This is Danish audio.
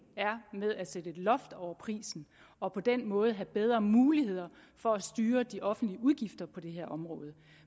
er med at sætte et loft over prisen og på den måde have bedre muligheder for at styre de offentlige udgifter på det her område